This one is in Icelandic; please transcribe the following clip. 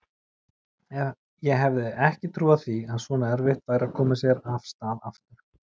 Ég hefði ekki trúað því að svona erfitt væri að koma sér af stað aftur.